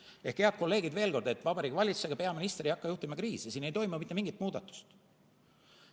Ehk, head kolleegid, veel kord: Vabariigi Valitsus ega peaminister ei hakka juhtima kriisi, siin ei toimu mitte mingit muudatust.